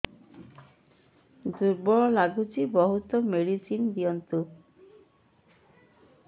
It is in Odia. ଦୁର୍ବଳ ଲାଗୁଚି ବହୁତ ମେଡିସିନ ଦିଅନ୍ତୁ